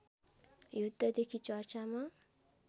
युद्धदेखि चर्चामा